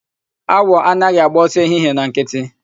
Awọ anaghị agba ọsọ ehihie na nkịtị.